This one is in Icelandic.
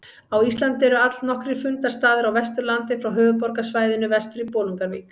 Á Íslandi eru allnokkrir fundarstaðir á Vesturlandi frá höfuðborgarsvæðinu vestur í Bolungarvík.